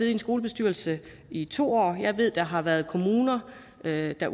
en skolebestyrelse i to år jeg ved at der har været kommuner derude der